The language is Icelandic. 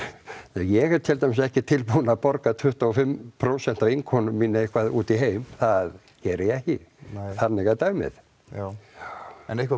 ég er tildæmis ekki tilbúin að borga tuttugu og fimm prósent af innkomu mína eitthvað út í heim það geri ég ekki þannig er dæmið já en eitthvað